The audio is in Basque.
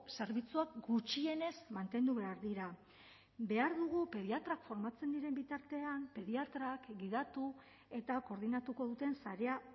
zerbitzuak gutxienez mantendu behar dira behar dugu pediatrak formatzen diren bitartean pediatrak gidatu eta koordinatuko duten sarea